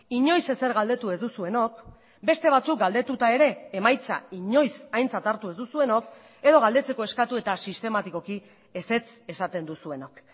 inoiz ezer galdetu ez duzuenok beste batzuk galdetuta ere emaitza inoiz aintzat hartu ez duzuenok edo galdetzeko eskatu eta sistematikoki ezetz esaten duzuenok